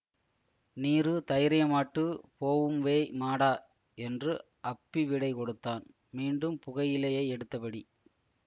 நீரு தைரியமாட்டு போவும்வேய் மாடா என்று அப்பி விடை கொடுத்தான் மீண்டும் புகையிலையை எடுத்தபடி